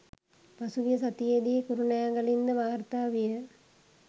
පසුගිය සතියේදී කුරුණෑගලින්ද වාර්තා විය.